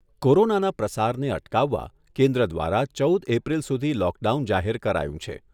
કોરોનાના પ્રસારને અટકાવવા કેન્દ્ર દ્વારા ચૌદ એપ્રિલ સુધી લોકડાઉન જાહેર કરાયું છે.